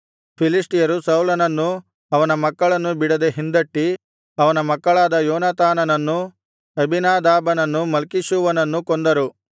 ಫಿಲಿಷ್ಟಿಯರು ಸೌಲನನ್ನೂ ಅವನ ಮಕ್ಕಳನ್ನೂ ಬಿಡದೆ ಹಿಂದಟ್ಟಿ ಅವನ ಮಕ್ಕಳಾದ ಯೋನಾತಾನನನ್ನೂ ಅಬೀನಾದಾಬನನ್ನೂ ಮಲ್ಕೀಷೂವನನ್ನೂ ಕೊಂದರು